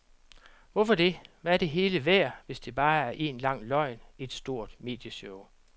Hvorfor det, hvad er det hele værd, hvis det bare er en lang løgn, et stort medieshow?